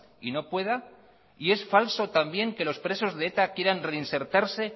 y no pueda y es falso también que los presos de eta quieran reinsertarse